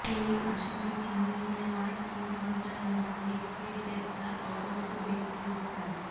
দুই আসামি ছিনিয়ে নেওয়ার তিন ঘণ্টার মধ্যে ফের গ্রেপ্তার অপহূত ব্যক্তি উদ্ধার